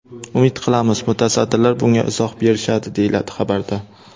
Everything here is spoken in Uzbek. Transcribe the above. Umid qilamiz, mutasaddilar bunga izoh berishadi”, deyiladi xabarda.